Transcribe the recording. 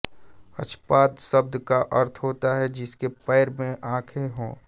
अक्षपाद शब्द का अर्थ होता है जिसके पैर में आँखें हों